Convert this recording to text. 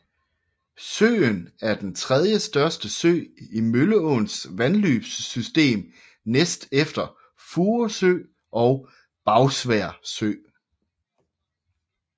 Søen er den tredjestørste sø i Mølleåens vandløbssystem næst efter Furesø og Bagsværd Sø